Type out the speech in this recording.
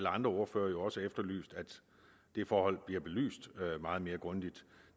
andre ordførere jo også efterlyst at det forhold bliver belyst meget mere grundigt